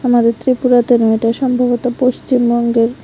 আমাদের ত্রিপুরাতে নয় এটা সম্ভবত পশ্চিমবঙ্গের।